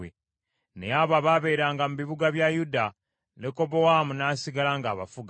Naye abo abaabeeranga mu bibuga bya Yuda, Lekobowaamu n’asigala ng’abafuga.